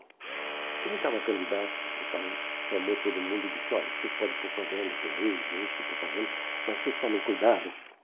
Quando ele estava candidato, o padre chamou todo mundo e disse, olha, vocês podem propaganda por aí, um nicho de propaganda, mas vocês tomem cuidado.